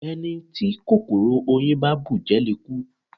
Ẹni tí kòkòrò oyin bá bùjẹ le kú.